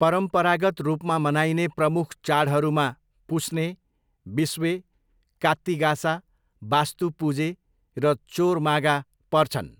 परम्परागत रूपमा मनाइने प्रमुख चाडहरूमा पुस्ने, बिस्वे, कात्ती गासा, बास्तु पुजे र चोर मागा पर्छन्।